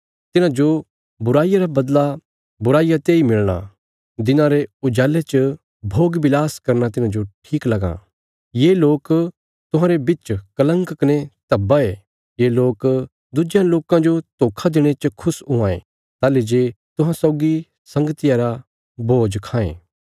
तिन्हांजो बुराईया रा बदला बुराईया तेई मिलणा दिना रे उजाले च भोगविलास करना तिन्हांजो ठीक लगां ये लोक तुहांरे बिच कलंक कने धब्बा ये ये लोक दुज्यां लोकां जो धोखा देणे च खुश हुआं ये ताहली जे तुहां सौगी संगतिया रा भोज खांये